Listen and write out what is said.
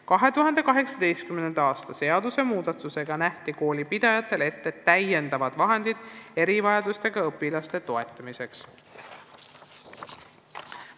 2018. aasta seadusmuudatusega nähti koolipidajatele ette täiendavad vahendid erivajadustega õpilaste toetamiseks.